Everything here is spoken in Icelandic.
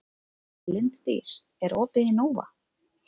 Linddís, er opið í Nova?